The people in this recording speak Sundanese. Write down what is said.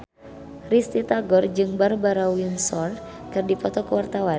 Risty Tagor jeung Barbara Windsor keur dipoto ku wartawan